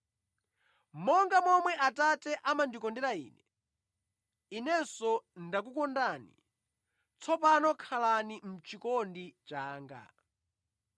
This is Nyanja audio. “Monga momwe Atate amandikondera Ine, Inenso ndakukondani. Tsopano khalani mʼchikondi changa.